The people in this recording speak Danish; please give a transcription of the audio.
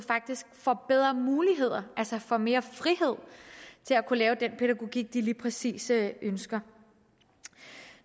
får bedre muligheder altså får mere frihed til at kunne lave den pædagogik de lige præcis ønsker